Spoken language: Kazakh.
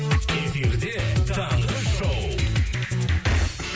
эфирде таңғы шоу